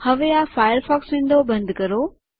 હવે આ Firefox window બંધ કરો